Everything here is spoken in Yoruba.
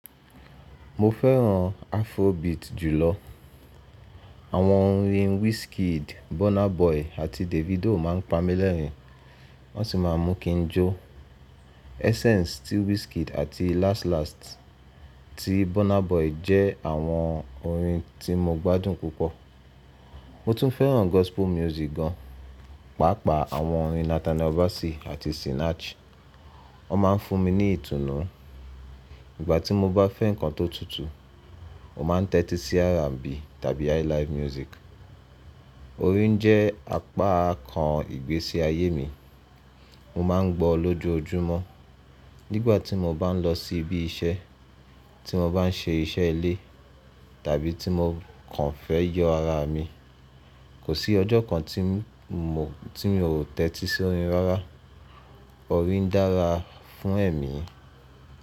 Mo fẹ́ràn afrobeat jùlọ. Àwọn orin Wizkid, Burna Boy àti Davido ma ń pa mí lẹ́rìn, wọ́n sì má a mú kí n jó. Essence tí Wizkid àti Last Last tí Burna Boy jẹ́ àwọn orin tí mo gbádùn púpọ̀. Mo tún fẹ́ràn gospel music gan, pàápàá àwọn orin Nathaniel Bassey àti Sinach. Wọ́n ma ń fún mi ní ìtùnú. Ìgbà tí mo bá fẹ́ nǹkan tó tutù, mo má a n tẹ́tí sí R&B tàbí highlive music. Orin jẹ́ apá kan ìgbésí ayé mi. Mo má a n gbọ́ ọ lójoojúmọ́: nígbà tí mo bá n lọ sí ibi iṣẹ́, tí mo bá n ṣe iṣẹ́ ilé tàbí tí mo kàn fẹ́ yọ ara mi. Kò sí ọjọ́ kan tí mo ò tẹ́tí sí orin rárá. Orin dára fún ẹ̀mí.